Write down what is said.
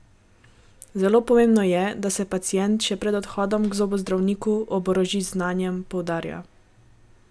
Zelo pomembno je, da se pacient še pred odhodom k zobozdravniku oboroži z znanjem, poudarja.